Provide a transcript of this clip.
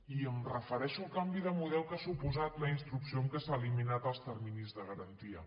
i em refereixo al canvi de model que ha suposat la instrucció en què s’han eliminat els terminis de garantia